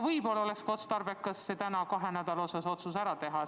Võib-olla oleks otstarbekas täna otsus kahe nädala kohta ära teha.